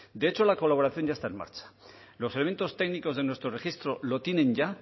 de hecho la colaboración ya está en marcha los elementos técnicos de nuestro registro lo tienen ya